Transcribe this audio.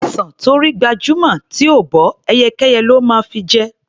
Ọsàn tó rí gbajúmọ̀ tí ò bọ́, ẹyẹkẹ́yẹ ló máa fi jẹ.